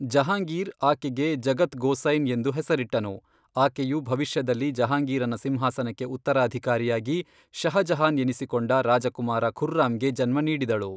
ಜಹಾಂಗೀರ್ ಆಕೆಗೆ ಜಗತ್ ಗೋಸೈನ್ ಎಂದು ಹೆಸರಿಟ್ಟನು ಆಕೆಯು ಭವಿಷ್ಯದಲ್ಲಿ ಜಹಾಂಗೀರನ ಸಿಂಹಾಸನಕ್ಕೆ ಉತ್ತರಾಧಿಕಾರಿಯಾಗಿ ಷಹಜಹಾನ್ ಎನಿಸಿಕೊಂಡ ರಾಜಕುಮಾರ ಖುರ್ರಾಮ್ಗೆ ಜನ್ಮ ನೀಡಿದಳು.